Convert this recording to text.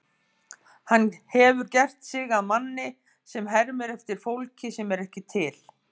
Hann hefur gert sig að manni sem hermir eftir fólki sem ekki er til.